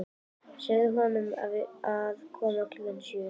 Segðu honum að koma klukkan sjö.